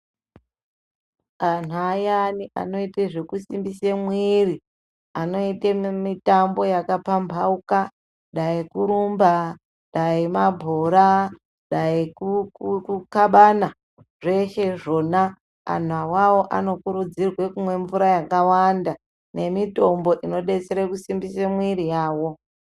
Anhu ayani anoite zvekisimbise mwiri, anoite mitambo yakapamhamhauka dai kurumba, dai mabhora, daikukabana, zveshe zvona anhu awawo anokurudzirwe kumwe mvura yakawanda nemitombo inodetsere kusimbise mwiri yawo.